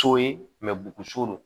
So ye bugun so don